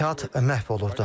Həyat məhv olurdu.